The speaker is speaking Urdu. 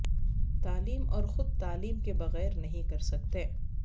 تعلیم اور خود تعلیم کے بغیر نہیں کر سکتے